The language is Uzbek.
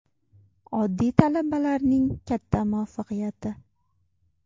Oddiy talabalarning katta muvaffaqiyati.